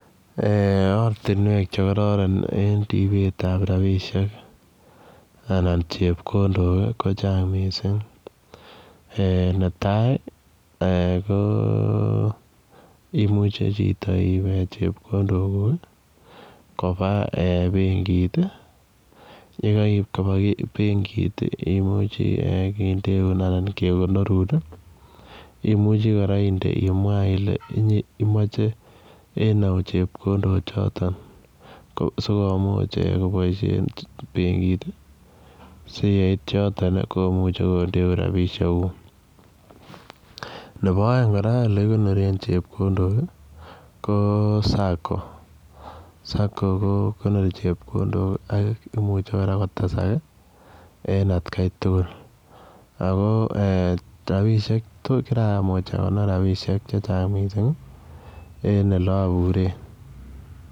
Ortinwek chekororon en ribetab rabishek anan chepkondok kochang' mising' ne tai ko imuuch ipwech chepkondok kuk koba benkit yekaib koba benkit imuche kendeun anan kekonorun imuche kora imwa ile inye imoche en ou chepkondo choton sikomuch koboishen benkit si ye it yoton komuchei kendeun rabishek kuk nebo oeng' kora ole ikonoren chepkondok ko Sacco Sacco kokonori chepkondok ak imuche kora kotesak en atkei tugul ako kiramuch akonor rabishek chechang' mising' en ole aburen